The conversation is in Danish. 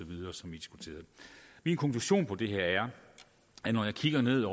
som vi diskuterede min konklusion på det her er at når jeg kigger ned